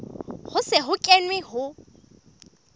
ho se ho kenwe ho